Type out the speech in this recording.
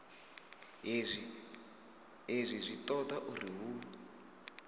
hezwi zwi toda uri hu